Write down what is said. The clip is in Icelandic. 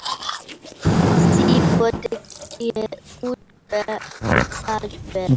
Henni væri vel borgið.